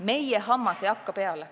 Meie hammas ei hakka peale.